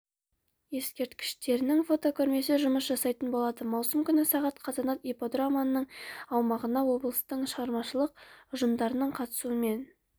ескерткіштерінің фотокөрмесі жұмыс жасайтын болады маусым күні сағат қазанат ипподромының аумағында облыстың шығармашылық ұжымдарының қатысуымен